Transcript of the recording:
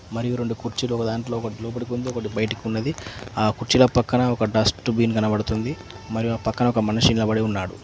మరియు రెండు కుర్చీలు ఒక దాంట్లో ఒకటి లోపలికి ఉంది ఒకటి బయటకు ఉన్నది ఆ కుర్చీల పక్కన ఒక డస్ట్ బిన్ కనబడుతుంది మరియు ఆ పక్కన ఒక మనిషి నిలబడి ఉన్నాడు.